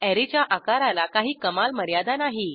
अॅरेच्या आकाराला काही कमाल मर्यादा नाही